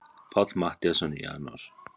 Páll Matthíasson: Í janúar?